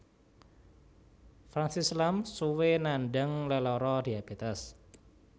Francis Lam suwé nandhang lelara diabetes